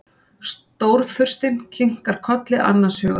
Stórfurstinn kinkar kolli annars hugar.